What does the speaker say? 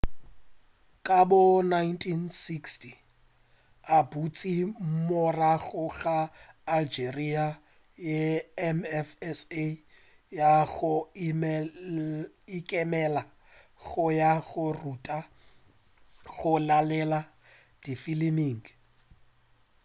ka bo 1960 o boetše morago go algeria ye mfsa ya go ikemela go ya go ruta go laela difiliming